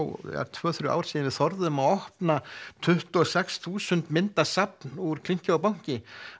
tvö þrjú ár síðan við þorðum að opna tuttugu og sex þúsund mynda safn úr klinki og banki